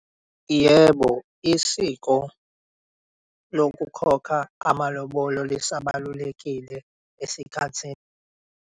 Yebo, isiko lokukhokha amalobolo lisabalulakile esikhathini.